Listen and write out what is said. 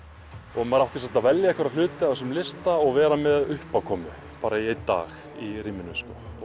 og maður átti að velja hluti af þessum lista og vera með uppákomu bara í einn dag í rýminu